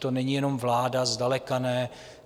To není jenom vláda, zdaleka ne.